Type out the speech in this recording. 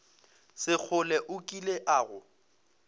sekgole o kile a go